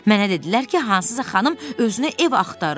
Mənə dedilər ki, hansısa xanım özünə ev axtarır.